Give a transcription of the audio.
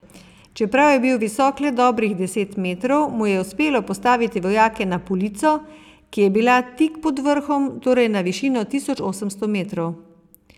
Čeprav je bil visok le dobrih deset metrov, mu je uspelo postaviti vojake na polico, ki je bila tik pod vrhom, torej na višino tisoč osemsto metrov.